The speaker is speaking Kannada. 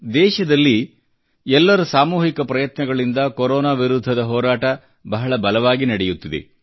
ದೇಶದಲ್ಲಿ ಎಲ್ಲರ ಸಾಮೂಹಿಕ ಪ್ರಯತ್ನಗಳಿಂದ ಕೊರೊನಾ ವಿರುದ್ಧದ ಹೋರಾಟ ಬಹಳ ಬಲವಾಗಿ ನಡೆಯುತ್ತಿದೆ